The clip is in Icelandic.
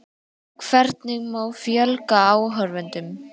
Hvernig má fjölga áhorfendum?